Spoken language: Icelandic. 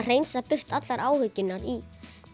hreinsar burtu allar áhyggjurnar í